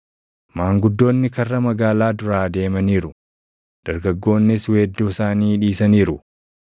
Maanguddoonni karra magaalaa duraa deemaniiru; dargaggoonnis weedduu isaanii dhiisaniiru.